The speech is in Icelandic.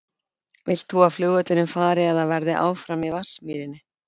Vilt þú að flugvöllurinn fari eða verði áfram í Vatnsmýrinni?